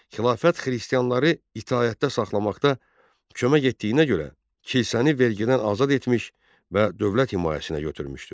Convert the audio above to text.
Xilafət xristianları itaətdə saxlamaqda kömək etdiyinə görə, kilsəni vergidən azad etmiş və dövlət himayəsinə götürmüşdü.